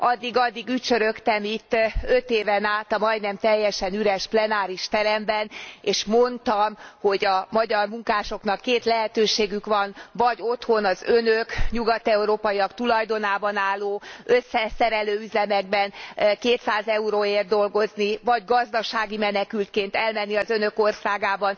Addig addig ücsörögtem itt öt éven át a majdnem teljesen üres plenáris teremben, és mondtam, hogy a magyar munkásoknak két lehetőségük van vagy otthon az Önök, nyugat európaiak tulajdonában álló összeszerelő üzemekben 200 euróért dolgoznak, vagy gazdasági menekültként elmennek az Önök országaiba,